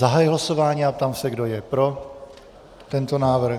Zahajuji hlasování a ptám se, kdo je pro tento návrh.